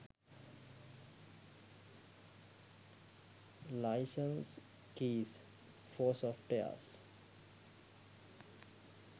license keys for softwares